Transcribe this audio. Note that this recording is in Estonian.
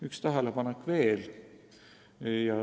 Üks tähelepanek veel.